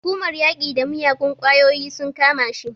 Hukumar yaƙi da miyagun ƙwayoyi sun kama shi.